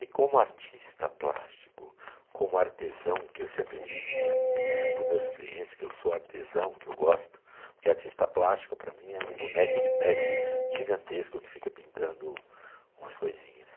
E como artista plástico, como artesão, que eu sempre disse para mim, para os meus clientes, que eu sou artesão, que eu gosto, porque artista plástico para mim é um boneco de pet gigantesco que fica pintando umas coisinhas.